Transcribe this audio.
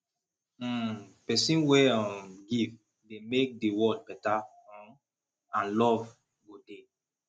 um pesin wey um give dey mek di world beta um and luv go dey